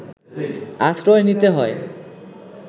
আশ্রয় নিতে হয়